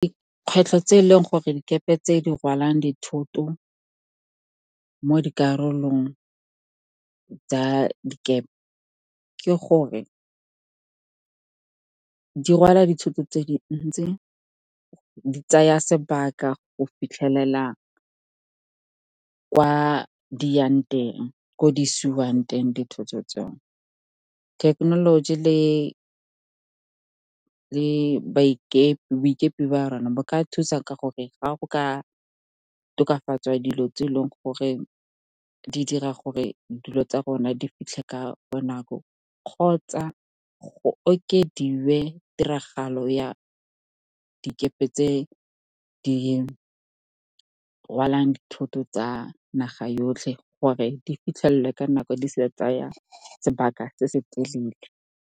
Dikgwetlho tse e leng gore dikepe tse di rwalang dithoto mo dikarolong tsa dikepe ke gore, di rwala dithoto tse dintsi, di tsaya sebaka go fitlhelela ko di isiwang teng dithoto tsone. Thekenoloji le boikepe ba rona, bo ka thusa ka gore ga go ka tokafatswa dilo tse e leng gore di dira gore dilo tsa rona di fitlhe ka bonako kgotsa go okediwe tiragalo ya dikepe tse di rwalang dithoto tsa naga yotlhe gore di fitlhelele ka nako, di se tsaya sebaka se se telele.